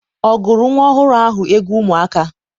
ọ gụụrụ nwa ọhụrụ ahụ egwu ụmụaka?